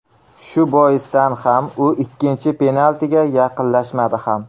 Shu boisdan ham u ikkinchi penaltiga yaqinlashmadi ham.